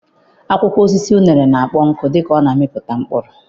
Akwụkwọ osisi uṅere na-akpọ nkụ dịka ọ na-amịpụta mkpụrụ.